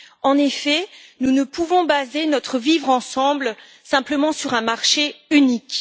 En effet, nous ne pouvons baser notre vivre ensemble simplement sur un marché unique.